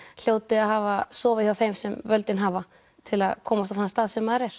hljóti að hafa sofið hjá þeim sem völdin hafa til að komast á þann stað sem maður er